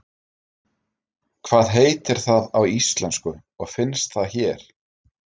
Hvað heitir það á íslensku og finnst það hér?